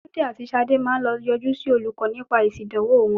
Túndé àti Ṣadé máa lọ yọjú sí olùkọ́ nípa èsì ìdánwò wọn.